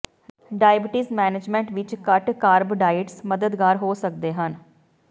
diabetes management ਵਿਚ ਘੱਟ carb diets ਮਦਦਗਾਰ ਹੋ ਸਕਦੇ ਹਨ